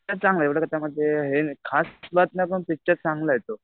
Picture चांगला आहे एवढं कसं आहे माहितीये खास बात नाही पण पिक्चर चांगला आहे तो.